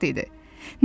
O xoşbəxt idi.